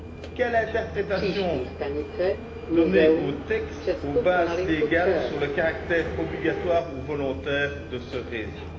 Quelle interprétation donner aux textes, aux bases légales, sur le caractère obligatoire ou volontaire à ce réseau?